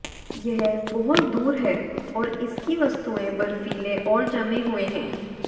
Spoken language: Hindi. यह बहुत दूर है और इसकी वस्तुएं बर्फीले और जमे हुए हैं